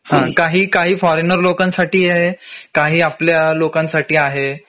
हा काही काही फॉरेनर लोकांसाठी आहे काही आपल्या लोकांसाठी आहे